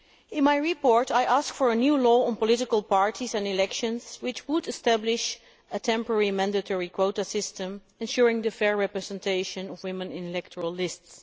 In my report I ask for a new law on political parties and elections which would establish a temporary mandatory quota system ensuring the fair representation of women in electoral lists.